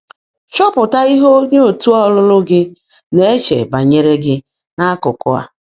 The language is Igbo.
Chọ́pụtá íhe óńyé ọ̀tú́ ọ́lụ́lụ́ gị́ ná-èche bányèré gị́ n’ákụ́kụ́ á.